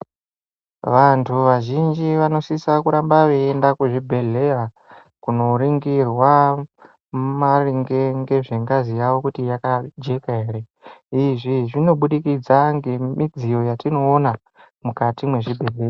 Vantu vazhinji vanosisa kuramba veienda kuzvibhedhlera kundoningirwa maringe ngezvengazi yavo kuti yakajeka ere. Izvi zvinobudikidza ngemidziyo yatinoona mukati mwezvibhedhlera.